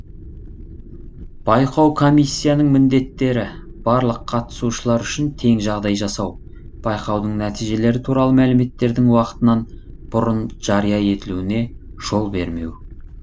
байқау комиссияның міндеттері барлық қатысушылар үшін тең жағдай жасау байқаудың нәтижелері туралы мәліметтердің уақытынан бұрын жария етілуіне жол бермеу